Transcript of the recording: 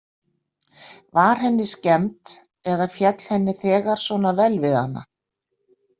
Var henni skemmt eða féll henni þegar svona vel við hana?